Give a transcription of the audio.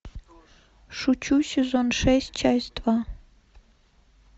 шучу сезон шесть часть два